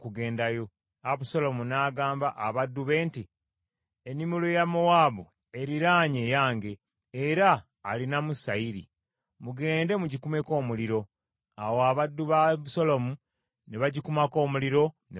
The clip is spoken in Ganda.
Abusaalomu n’agamba abaddu be nti, “Ennimiro ya Yowaabu eriraanye eyange, era alinamu sayiri. Mugende mugikumeko omuliro.” Awo abaddu ba Abusaalomu ne bagikumako omuliro ne bagyokya.